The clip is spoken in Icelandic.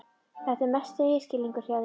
Þetta er mesti misskilningur hjá þér!